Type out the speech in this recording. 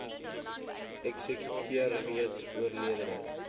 eksekuteur reeds oorledene